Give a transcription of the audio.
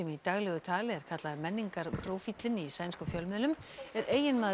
í daglegu tali er kallaður menningarprófíllinn í sænskum fjölmiðlum er eiginmaður